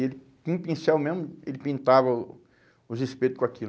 E ele, com um pincel mesmo, ele pintava o os espeto com aquilo.